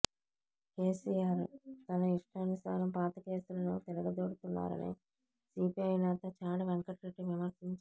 కేసీఆర్ తన ఇష్టానుసారం పాత కేసులను తిరగదోడుతున్నారని సీపీఐ నేత చాడ వెంకటరెడ్డి విమర్శించారు